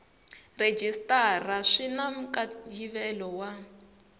rhejisitara swi na nkayivelo wa